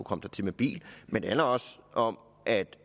komme dertil med bil men det handler også om at